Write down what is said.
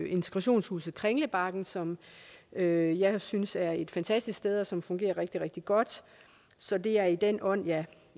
integrationshuset kringlebakken som jeg jeg synes er et fantastisk sted og som fungerer rigtig rigtig godt så det er i den ånd jeg